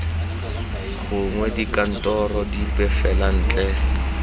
gongwe dikantorong dipe fela ntle